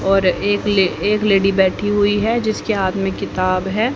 और एक लेडी बैठी हुई है जिसके हाथ में किताब है।